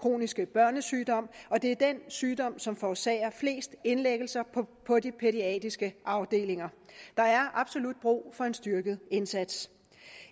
kroniske børnesygdom og det er den sygdom som forårsager flest indlæggelser på de pædiatriske afdelinger der er absolut brug for en styrket indsats